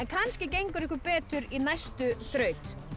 kannski gengur ykkur betur í næstu þraut